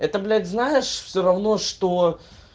это блять знаешь все равно что